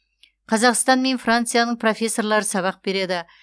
қазақстан мен францияның профессорлары сабақ береді